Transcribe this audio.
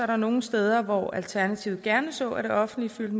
der nogle steder hvor alternativet gerne så at det offentlige fyldte